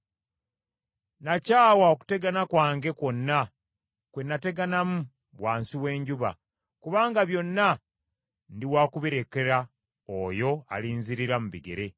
Nakyawa okutegana kwange kwonna kwe nateganamu wansi w’enjuba, kubanga byonna ndi wakubirekera oyo alinzirira mu bigere.